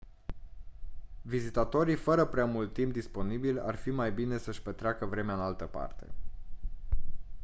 vizitatorii fără prea mult timp disponibil ar fi mai bine să-și petreacă vremea în altă parte